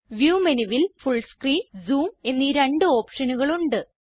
view മെനുവിൽ full screen zoom എന്നീ രണ്ട് ഓപ്ഷനുകൾ ഉണ്ട്